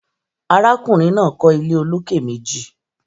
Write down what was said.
Arákùnrin náà kọ́ ilé olókè meji